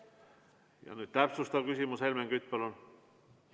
Ja nüüd täpsustav küsimus, Helmen Kütt, palun!